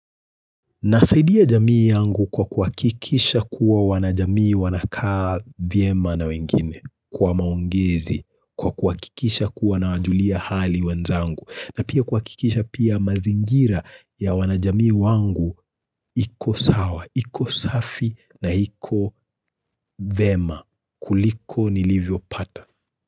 Nasaidia jamii yangu kwa kuhakikisha kuwa wanajamii wanakaa vyema na wengine, kwa maongezi, kwa kuhakikisha kuwa nawajulia hali wenzangu, na pia kuhakikisha pia mazingira ya wanajamii wangu iko sawa, iko safi na iko vyema kuliko nilivyo pata.